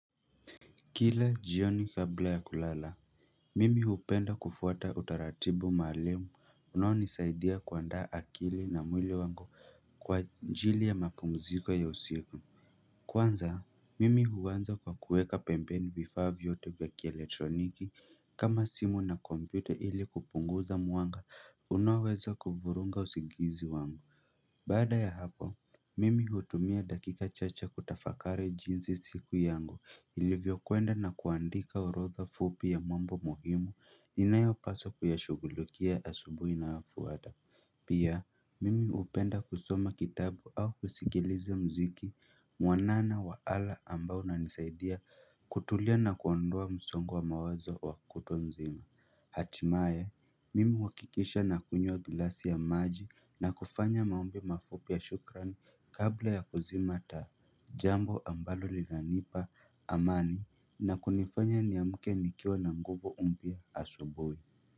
Kila jioni kabla ya kulala. Mimi hupenda kufuata utaratibu maalum unaonisaidia kuandaa akili na mwili wangu kwa ajili ya mapumziko ya usiku. Kwanza, mimi huanza kwa kuweka pembeni vifaa vyote vya kieletroniki kama simu na kompyuta ili kupunguza mwanga unaoweza kuvuruga usingizi wangu. Baada ya hapo, mimi hutumia dakika chache kutafakari jinsi siku yangu ilivyokwenda na kuandika orodha fupi ya mambo muhimu inayopaswa kuyashughulikia asubuhi inayofuata. Pia, mimi hupenda kusoma kitabu au kusikiliza muziki mwanana wa ala ambao unanisaidia kutulia na kuondoa msongo wa mawazo wa kutwa mzima. Hatimaye, mimi huhakikisha nakunywa glasi ya maji na kufanya maombi mafupi ya shukrani kabla ya kuzima taa jambo ambalo linanipa amani na kunifanya niamke nikiwa na nguvu mpya asubuhi.